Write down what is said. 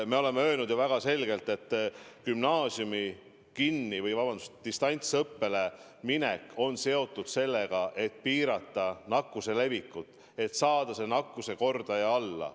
Me oleme öelnud väga selgelt, et gümnaasiumide distantsõppele minek on seotud sooviga piirata nakkuse levikut, saada nakkuskordaja alla.